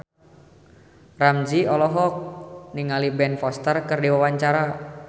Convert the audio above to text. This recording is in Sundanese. Ramzy olohok ningali Ben Foster keur diwawancara